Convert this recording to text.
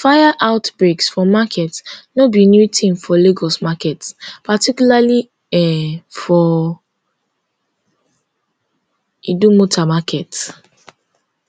fire outbreaks for market no be new thing for lagos markets particularly um for idumota market